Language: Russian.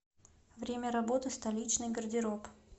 время работы столичный гардероб